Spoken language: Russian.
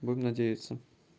будем надеяться